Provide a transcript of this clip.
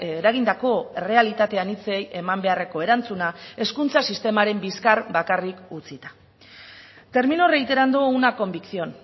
eragindako errealitate anitzei eman beharreko erantzuna hezkuntza sistemaren bizkar bakarrik utzita termino reiterando una convicción